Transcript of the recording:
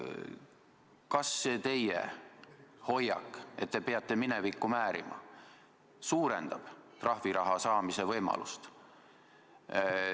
Kas see teie hoiak, et te peate minevikku määrima, suurendab trahviraha saamise võimalust?